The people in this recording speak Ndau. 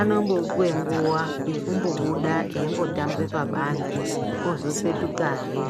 anombopuwe nguwa yekumbobuda eimbotamba pabanzi ozopetukahe.